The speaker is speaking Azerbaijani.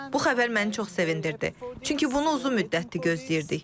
Bu xəbər məni çox sevindirdi, çünki bunu uzun müddətdir gözləyirdik.